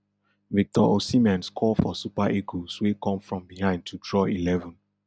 victor osimhen score for super eagles wey come from behind to draw eleven